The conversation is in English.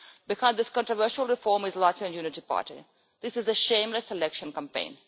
Behind this controversial reform is the Latvian Unity Party this is a shameless election campaign.